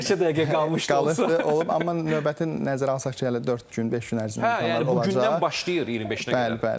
Bir neçə dəqiqə qalmışdı olsa olub, amma növbəti nəzərə alsaq ki, hələ dörd gün, beş gün ərzində imtahanlar olacaq, bu gündən başlayır 25-nə qədər.